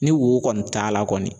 Ni wo kɔni taa la kɔni